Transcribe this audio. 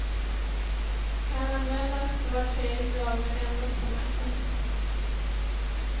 Kan användas var tredje dag, men endast på näsan.